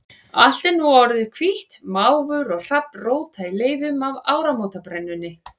Allt er nú sem orðið hvítt, máfur og hrafn róta í leifunum af áramótabrennunni.